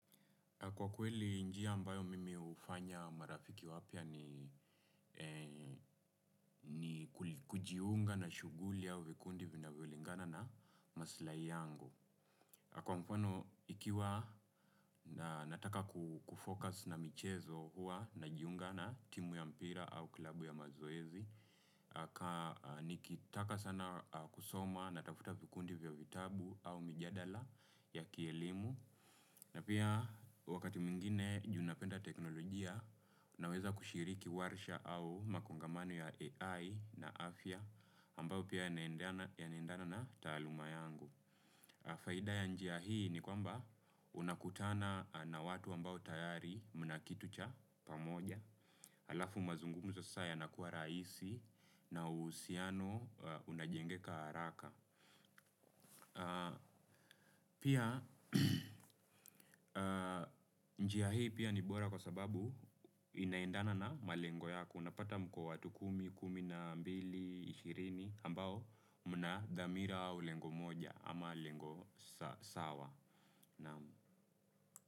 Kwa kweli njia ambayo mimi hufanya marafiki wapya ni ni kujiunga na shuguli ya vikundi vinavelingana na maslai yangu. Kwa mfano, ikiwa nataka kufocus na michezo huwa najiunga na timu ya mpira au klubu ya mazoezi, nikitaka sana kusoma natafuta vikundi vya vitabu au mijadala ya kielimu. Na pia wakati mwingine juu napenda teknolojia, naweza kushiriki warsha au makongamani ya AI na afya ambayo pia yanaendana na taaluma yangu. Faida ya njia hii ni kwamba unakutana na watu ambao tayari mna kitu cha pamoja, alafu mazungumzo sasa yanakuwa rahisi na uhusiano unajengeka haraka. Pia njia hii pia ni bora kwa sababu inaindana na malengo yaku. Unapata mko watu kumi, kumi na mbili, ishirini ambao mna dhamira au lengo moja ama lengo sawa.